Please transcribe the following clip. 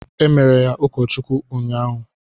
Emere ya ụkọ Chukwu unyaahụ.